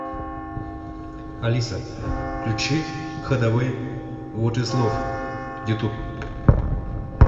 алиса включи хадавей вот из лов ютуб